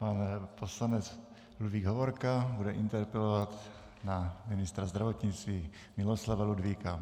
Pan poslanec Ludvík Hovorka bude interpelovat na ministra zdravotnictví Miloslava Ludvíka.